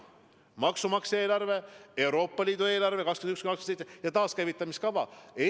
On maksumaksja eelarve, Euroopa Liidu eelarve 2021–2027 ja taaskäivitamisfond.